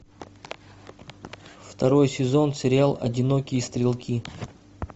второй сезон сериал одинокие стрелки